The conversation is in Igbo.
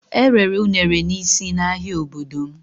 Erere unere n'isi n'ahia obodo m.